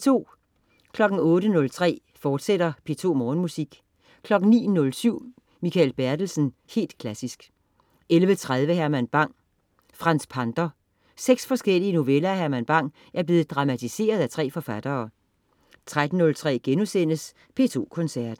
08.03 P2 Morgenmusik, fortsat 09.07 Mikael Bertelsen. Helt klassisk 11.30 Herman Bang: Franz Pander. 6 forskellige noveller af Herman Bang er blevet dramatiseret af 3 forfattere 13.03 P2 Koncerten*